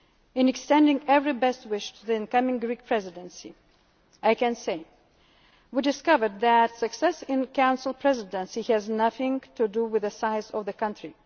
of European solidarity. In extending every best wish to the incoming Greek Presidency, I can say this we discovered that success in a Council Presidency has nothing to do with